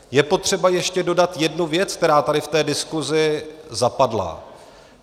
Je potřeba ještě dodat jednu věc, která tady v té diskusi zapadla.